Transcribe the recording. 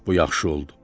"Bu yaxşı oldu.